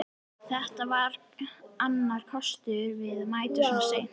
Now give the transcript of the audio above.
Þetta var annar kostur við að mæta svona seint.